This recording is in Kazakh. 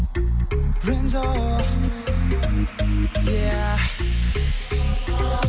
рензо е еа